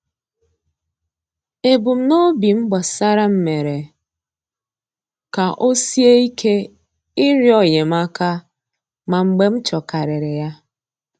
Ebumnobi m gbasara m mere ka o sie ike ịrịọ enyemaka, ma mgbe m chọrọkarịrị ya.